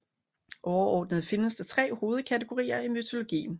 Overordnet findes der tre hovedkategorier i mytologien